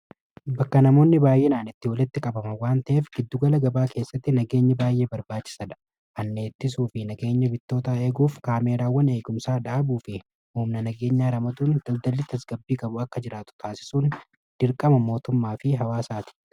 bakka namoonni baay'eenaan itti walitti qabaman waan ta'eef giddugala gabaa keessatti nageenyi baay'ee barbaachisadha hanna ittisuu fi nageenya bittoota eeguuf kaameeraawwan eegumsaa dhaabuu fi huumna nageenya ramaduun daldali tasgabbii gabu akka jiraatu taasisuun dirqama mootummaa fi hawaasaati.